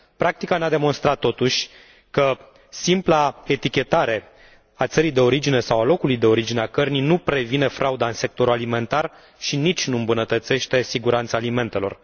Practica ne a demonstrat, totuși, că simpla etichetare a țării de origine sau a locului de origine a cărnii nu previne frauda în sectorul alimentar și nici nu îmbunătățește siguranța alimentelor.